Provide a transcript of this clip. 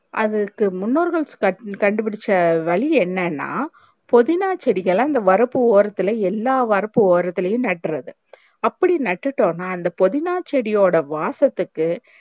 அதுக்கு முன்னோர்கள் கண்டுபுடிச்ச வழி என்னன்னா பொதினா செடிகள அந்த வரப்பு ஓரத்துல எல்லாம் வரப்பு ஓரத்துலையும் நற்றுறது அப்டி நட்டுட்டன்னா அந்த பொதினா செடி ஓட வாசத்துக்கு